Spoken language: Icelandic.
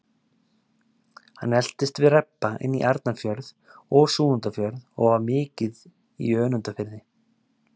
Hann eltist við rebba inn í Arnarfjörð og Súgandafjörð og var mikið í Önundarfirði.